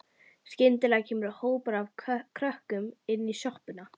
Skyndilega kemur hópur af krökkum inn í sjoppuna.